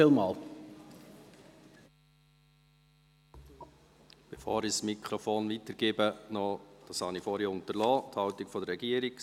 Bevor ich das Wort weitergebe, möchte ich Sie über die Haltung der Regierung informieren.